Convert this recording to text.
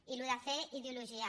i el tema de fer ideologia